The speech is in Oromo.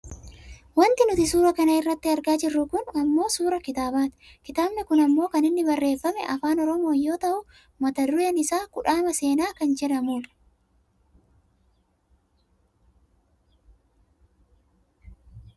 Wanti nuti suura kana irratti argaa jirru kun ammoo suuraa kitaabaati. Kitaabni kun ammoo kan inni barreefame Afaan Oromoon yoo ta'u mata dureen isaa" kudhaama seenaa " kan jedhamu dha.